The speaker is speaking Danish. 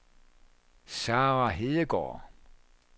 Sarah Hedegaard